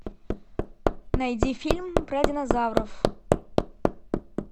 найди фильм про динозавров